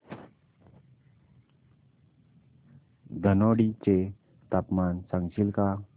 धनोडी चे तापमान सांगशील का